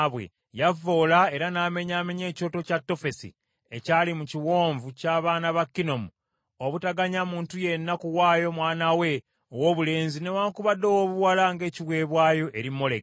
Yavvoola era n’amenyaamenya ekyoto kya Tofesi ekyali mu Kiwonvu ky’abaana ba Kinomu, obutaganya muntu yenna kuwaayo mwana we owoobulenzi newaakubadde owoobuwala ng’ekiweebwayo eri Moleki.